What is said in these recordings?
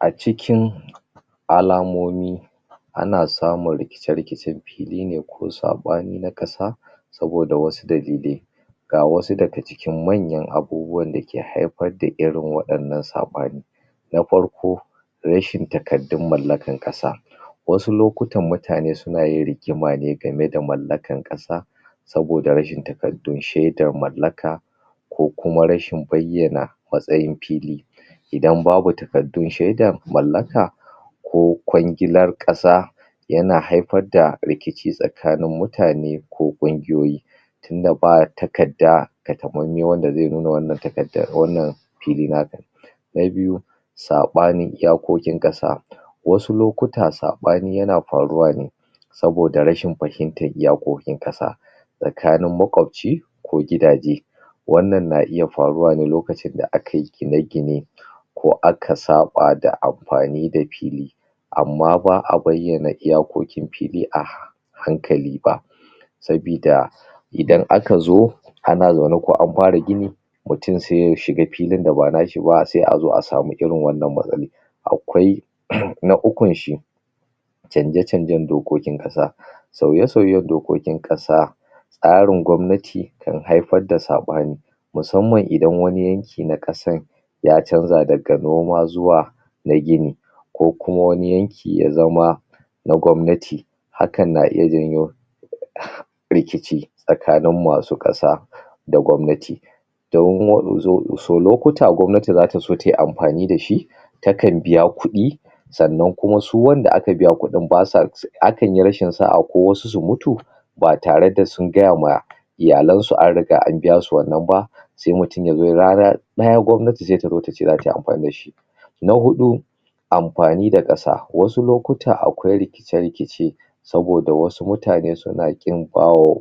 a cikin alamomi ana samun rikice rikicen fili ne ko sabi ne na kasa saboda wsu dalilai ga wasu daga cikin manyan abubuwan dake haifar da irin wa 'yan nan sabani na farko rashin takardun mallakan kasa wasu lokutan mutane suna yin rigima ne game da malllakan kasa saboda rashin takardun shaiden mallaka ko kuma rashin bayyan matsayin fili idan babu takardun shaidan mallaka ko kwangilar kasa yana haifar da rikici tsakanin mutane ko kungiyoyi tunda ba takarda takamaimai wanda zai nuna wannan fili naka ne na biyu sabanin iyakokin kasa wasu lokuta sabani yana faruwa ne sobada rashin fahimtar iyakokin kasa tsakanin makwabci ko gidaje wannan na iya faruwa ne lokacin da akayi gine gine ko aka saba da amafani da fili amma ba'a bayyana iyakokin fili a hankali ba sabida idan aka zo ana zaune ko an fara gini mutum sai ya shiga filin da banashi ba sai a zo a samu irin wannan matsalan akwai na ukun shi canja canjen dokokin kasa sauye sauyen dokokin kasa tsarin gwannati kan haifar da sabani musamman idan wani yanki na kasan ya canza daga noma zuwa na gini ko kuma wani yanki ya zama na gwannati hakan na iya janyo rikici tsakanin masu kasa da gwannati domin su lokuta gwannati zata so tayi amafani dashi takan biya kudi sannan kuma su wanda kan biya kudin basa akan yi rashin sa'a ko wasu su mutu ba tare da sungaya wa iyalen su an riga da an biya su wannan ba sai mutum rana daya gwannati sai ta zato ta ce tayi amfani dashi na hudu amfani da kasa wasu lokuta akwai rikice rikice saboda wasu mutane suna qin bawa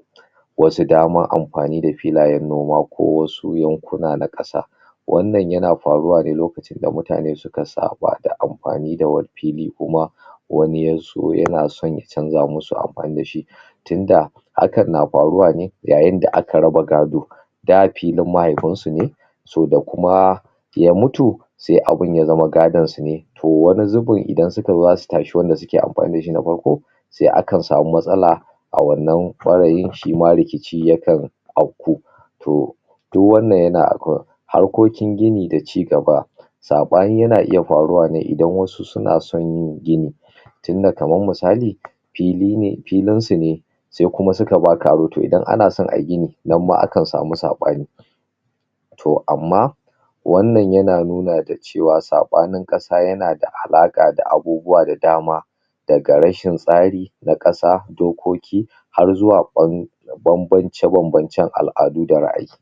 wasu dama amfani da filayen noma ko wasu yankuna na kasa wannan yana faruwa ne lokaci da mutane suka sukasaba da amfani da wani fili kuma wani yazo yana san ya canza musu amfani dashi tunda hakan na faruwa ne yayin da aka raba gado da filin mahaifi su ne so da kuma ya mutu sai abun ya zama gadon su ne to wani zubin idan suka zo zasu tashi wanda suke amfani da shi na farko sai akan samu matsala a wannan farayin shima rikici yakan to duk wannan yana harkokin gini da cigaba abani yana iya faruwa ne idan wasu suna san yin gini tunda kaman misali filin su ne sai kuma suka baka abu to idan ana san ayi gini nan ma akan samu sabani to amma wannan yana nuna cewa sabanin kasa yanada alaka da abubuwa da dama daga rashin tsari na kasa dokoki har zuwa ban da banbance banbance al'adu da ra ayi